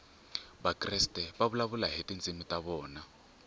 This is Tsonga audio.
vakreste va vulavula hi tindzimi ta vona